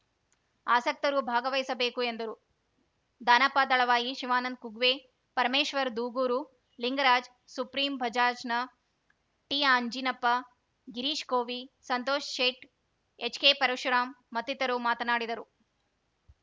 ಆಸಕ್ತರು ಭಾಗವಹಿಸಬೇಕು ಎಂದರು ದಾನಪ್ಪ ದಳವಾಯಿ ಶಿವಾನಂದ ಕುಗ್ವೆ ಪರಮೇಶ್ವರ ದೂಗೂರು ಲಿಂಗರಾಜ್‌ ಸುಪ್ರೀಂ ಬಜಾಜ್‌ನ ಟಿಅಂಜಿನಪ್ಪ ಗಿರೀಶ್‌ ಕೋವಿ ಸಂತೋಷ್‌ ಶೇಟ್‌ ಎಚ್‌ಕೆಪರಶುರಾಮ್‌ ಮತ್ತಿತರರು ಮಾತನಾಡಿದರು